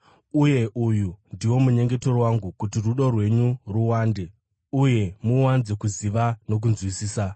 Uye uyu ndiwo munyengetero wangu: kuti rudo rwenyu ruwande uye muwanze kuziva nokunzwisisa,